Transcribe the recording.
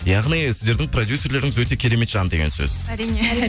яғни сіздердің продюссерлеріңіз өте керемет жан деген сөз әрине